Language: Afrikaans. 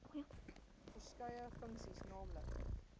verskeie funksies nl